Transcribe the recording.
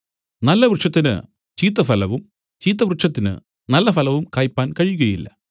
നല്ല വൃക്ഷത്തിന് ചീത്ത ഫലവും ചീത്ത വൃക്ഷത്തിന് നല്ല ഫലവും കായ്പാൻ കഴിയില്ല